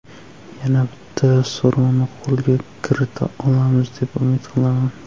Yana bitta sovrinni qo‘lga kirita olamiz, deb umid qilaman.